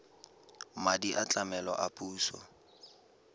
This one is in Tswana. madi a tlamelo a puso